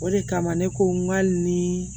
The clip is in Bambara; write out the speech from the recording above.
O de kama ne ko n k'a ni